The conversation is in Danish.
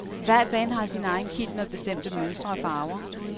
Hvert band har sin egen kilt med bestemte mønstre og farver.